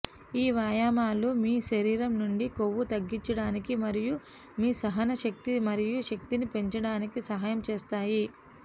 ఈ వ్యాయామాలు మీ శరీరం నుండి కొవ్వు తగ్గించడానికి మరియు మీ సహనశక్తి మరియు శక్తిని పెంచడానికి సహాయం చేస్తాయి